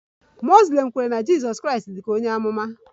Muslim kwere na Jizọs Kraịst dị ka onye amụma